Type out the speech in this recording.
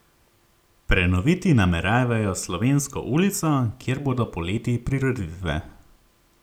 Prenoviti nameravajo Slovensko ulico, kjer bodo poleti prireditve.